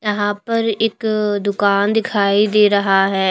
यहां पर एक दुकान दिखाई दे रहा है।